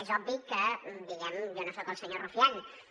és obvi que diguem ne jo no soc el senyor rufián